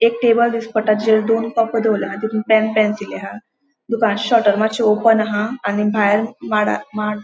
एक टेबल दिश्टी पट्टा जेचेर दोन दोवोरला तितुन पेन पेंसिली हा दुकान शटर मात्शे ओपन हा आणि भायर माडा माड --